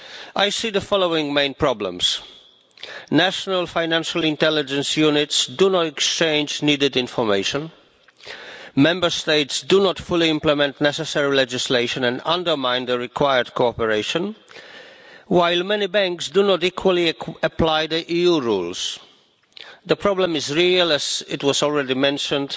I see the following main problems national Financial Intelligence Units do not exchange the information needed, Member States do not fully implement the necessary legislation and undermine the cooperation required, while many banks do not equally apply EU rules. The problem is real. As was already mentioned,